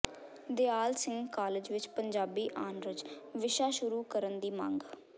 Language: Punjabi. ਦਿਆਲ ਸਿੰਘ ਕਾਲਜ ਵਿੱਚ ਪੰਜਾਬੀ ਆਨਰਜ਼ ਵਿਸ਼ਾ ਸ਼ੁਰੂ ਕਰਨ ਦੀ ਮੰਗ